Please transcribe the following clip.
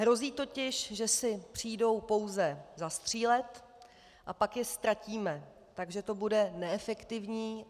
Hrozí totiž, že si přijdou pouze zastřílet a pak je ztratíme, takže to bude neefektivní.